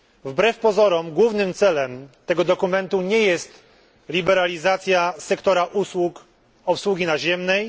Wbrew pozorom głównym celem tego dokumentu nie jest liberalizacja sektora usług obsługi naziemnej.